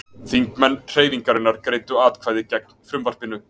Þingmenn Hreyfingarinnar greiddu atkvæði gegn frumvarpinu